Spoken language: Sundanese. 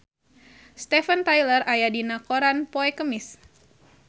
Steven Tyler aya dina koran poe Kemis